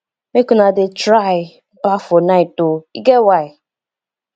make una dey try baff for night o e get why